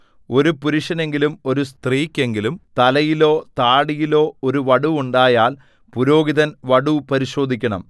ഒരു പുരുഷനെങ്കിലും ഒരു സ്ത്രീക്കെങ്കിലും തലയിലോ താടിയിലോ ഒരു വടു ഉണ്ടായാൽ പുരോഹിതൻ വടു പരിശോധിക്കണം